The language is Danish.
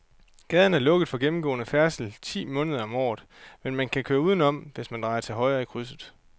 Gaden er lukket for gennemgående færdsel ti måneder om året, men man kan køre udenom, hvis man drejer til højre i krydset.